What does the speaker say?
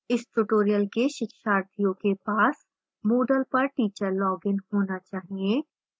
इस tutorial के शिक्षार्थियों के पास moodle पर teacher login होना चाहिए